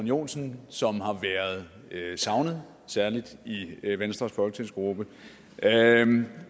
joensen som har været savnet særlig i venstres folketingsgruppe